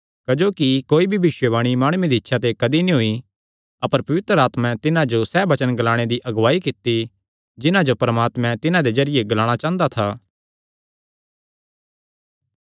क्जोकि कोई भी भविष्यवाणी माणुये दी इच्छा ते कदी नीं होई अपर पवित्र आत्मा तिन्हां जो सैह़ वचन ग्लाणे दी अगुआई कित्ती जिन्हां जो परमात्मा तिन्हां दे जरिये ग्लाणा चांह़दा था